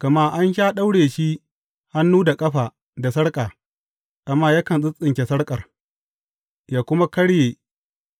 Gama an sha daure shi hannu da ƙafa da sarƙa, amma yakan tsintsinke sarƙar, yă kuma karye